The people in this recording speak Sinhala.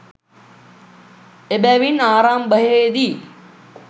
එබැවින් ආරම්භයේ දී